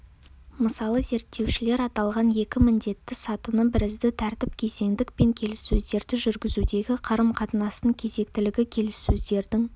мысалы зерттеушілер аталған екі міндетті сатыны бірізді тәртіп кезеңдік пен келіссөздерді жүргізудегі қарым-қатынастың кезектілігі келіссөздердің